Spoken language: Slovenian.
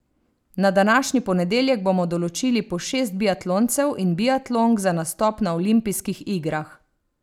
Na današnji ponedeljek bomo določili po šest biatloncev in biatlonk za nastop na olimpijskih igrah.